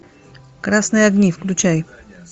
красные огни включай